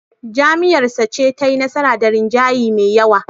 Jam'iyyarsa ce tayi nasara da rinjaye me yawa.